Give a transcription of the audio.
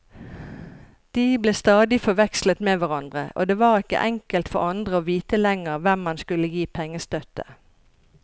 De ble stadig forvekslet med hverandre, og det var ikke enkelt for andre å vite lenger hvem man skulle gi pengestøtte.